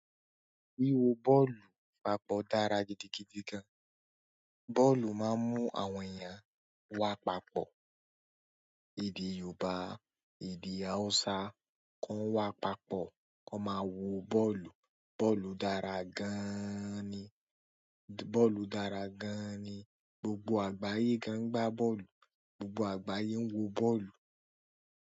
Wíwo bọ́ọ̀lù papọ̀ dára gidigidi gan. Bọ́ọ̀lù máa ń mú àwọn èèyàn wá papọ̀. Èdè Yorùbá, èdè Hausa kàn wá papọ̀, kàn máa wo bọ́ọ̀lù. Bọ́ọ̀lù dára gan-an ni. Bọ́ọ̀lù dára gan-an ni. Gbogbo àgbáyé gan gbá bọ́ọ̀lù. Gbogbo àgbáyé ń wo bọ́ọ̀lù.